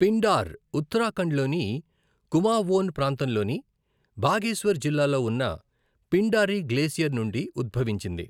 పిండార్ ఉత్తరాఖండ్లోని కుమావోన్ ప్రాంతంలోని బాగేశ్వర్ జిల్లాలో ఉన్న పిండారి గ్లేసియర్ నుండి ఉద్భవించింది.